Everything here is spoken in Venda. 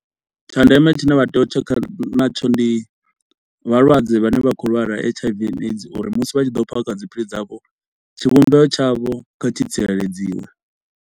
Tsha ndeme tshine vha tea u tshekha natsho ndi vhalwadze vhane vha khou lwala H_I_V and AIDS uri musi vha tshi ḓo phakha dziphilisi dzavho, tshivhumbeo tshavho kha tshi tsireledziwa.